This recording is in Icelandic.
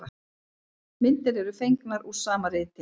Myndir eru fengnar úr sama riti.